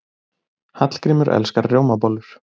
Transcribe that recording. Hallgrímur elskar rjómabollur.